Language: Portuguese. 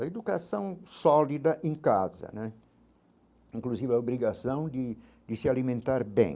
A educação sólida em casa né, inclusive a obrigação de de se alimentar bem.